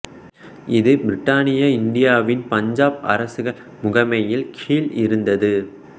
இது பிரித்தானிய இந்தியாவின் பஞ்சாப் அரசுகள் முகமையின் கீழ் இருந்தது